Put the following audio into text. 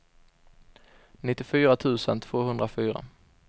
nittiofyra tusen tvåhundrafyra